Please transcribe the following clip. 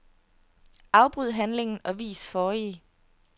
Afbryd handlingen og vis forrige.